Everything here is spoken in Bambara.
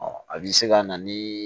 a bɛ se ka na ni